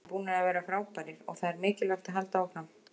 Við erum búnir að vera frábærir og það er mikilvægt að halda áfram.